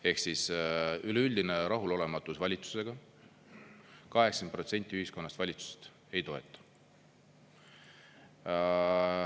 Ehk siis, üleüldine rahulolematus valitsusega: 80% ühiskonnast valitsust ei toeta.